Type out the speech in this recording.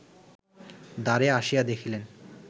দ্বারে আসিয়া দেখিলেন